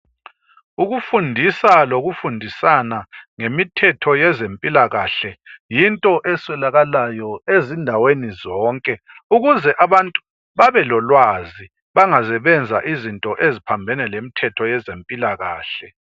Ukufundisa lokufundisana ngemithetho yezempilakakhe yinto eswelakalayo ezindaweni zonke, ukuze abantu babe lolwazi bangaze benza izinto eziphambene lemithetho yezempilakakhe.